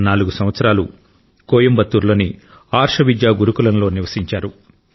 నాలుగు సంవత్సరాలు కోయంబత్తూర్ లోని అర్ష విద్యా గురుకులంలో నివసించారు